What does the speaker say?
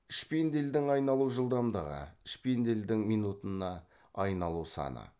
шпиндельдің айналу жылдамдығы шпиндельдің минутына айналу саны